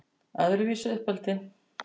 Öðruvísi uppeldi